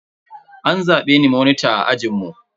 An zabe ni monita a ajinmu.